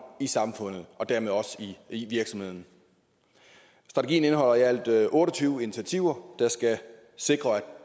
i samfundet og dermed også i virksomhederne strategien indeholder i alt otte og tyve initiativer der skal sikre at